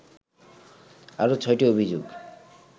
আরও ছয়টি অভিযোগ